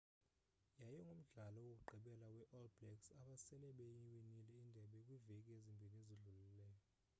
yayingumdlalo wokugqibela we all blacks abasele beyiwinile indebe kwiveki ezimbini ezidlulileyo